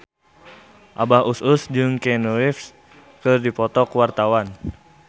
Abah Us Us jeung Keanu Reeves keur dipoto ku wartawan